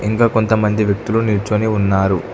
ఇంకా కొంతమంది వ్యక్తులు నిల్చొని ఉన్నారు.